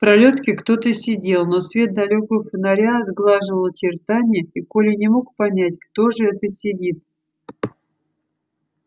в пролётке кто то сидел но свет далёкого фонаря сглаживал очертания и коля не мог понять кто же это сидит